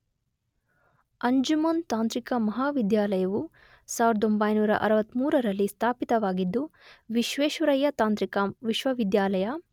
ಅಂಜುಮನ್ ತಾಂತ್ರಿಕ ಮಹಾವಿದ್ಯಾಲಯವು ೧೯೬೩ರಲ್ಲಿ ಸ್ಥಾಪಿತವಾಗಿದ್ದು ವಿಶ್ವೇಶ್ವರಯ್ಯ ತಾಂತ್ರಿಕ ವಿಶ್ವವಿದ್ಯಾಲಯ